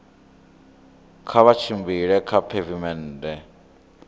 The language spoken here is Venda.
kha vha tshimbile kha pheivimennde